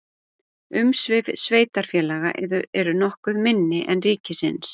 umsvif sveitarfélaga eru nokkuð minni en ríkisins